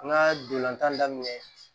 An ka dolantan daminɛ